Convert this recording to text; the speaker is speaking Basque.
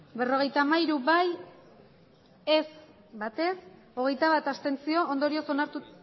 hirurogeita hamairu bai berrogeita hamairu abstentzioak